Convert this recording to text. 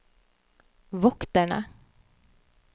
vokterne